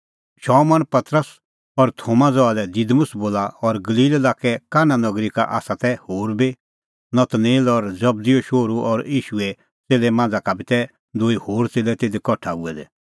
शमौन पतरस और थोमा ज़हा लै दिमुस बोला और गलील लाक्के काना नगरी का तै होर बी नतनेल और जबदीओ शोहरू और ईशूए च़ेल्लै मांझ़ा का बी तै दूई होर च़ेल्लै तिधी कठा हुऐ दै